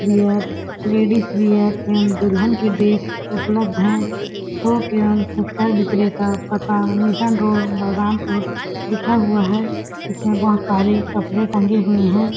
Wear ladies wear एवं दुल्हन की ड्रेस उपलब्ध है थोक एवं फूटकर विक्रेता पता मिशन रोड बलरामपुर लिखा हुआ है इसमें बहोत सारे कपड़े टंगे हुए है।